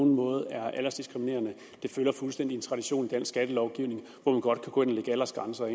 nogen måde er aldersdiskriminerende det følger fuldstændig en tradition i dansk skattelovgivning hvor man godt kan gå ind og lægge aldersgrænser